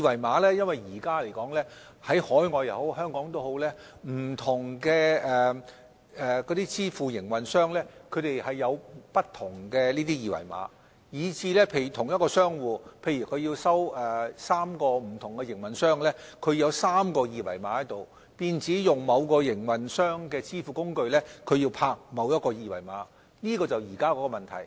目前來說，不論在海外或香港，不同的支付工具營運商設有不同的二維碼，假如同一個商戶要收取3個不同營運商的費用，便要有3個二維碼，若他要用某個營運商的支付工具，便要掃描某個二維碼，這便是現時的問題。